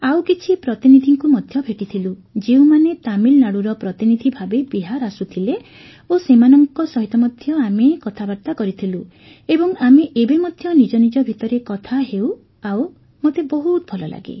ଆଉ କିଛି ପ୍ରତିନିଧିଙ୍କୁ ମଧ୍ୟ ଭେଟିଥିଲୁ ଯେଉଁମାନେ ତାମିଲନାଡ଼ୁର ପ୍ରତିନିଧି ଭାବେ ବିହାର ଆସୁଥିଲେ ଓ ସେମାନଙ୍କ ସହିତ ମଧ୍ୟ ଆମେ କଥାବାର୍ତ୍ତା କରିଥିଲୁ ଏବଂ ଆମେ ଏବେ ମଧ୍ୟ ନିଜନିଜ ଭିତରେ କଥା ହେଉ ଆଉ ମୋତେ ବହୁତ ଭଲ ଲାଗେ